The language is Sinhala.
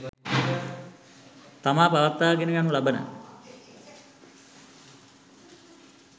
තමා පවත්වාගෙන යනු ලබන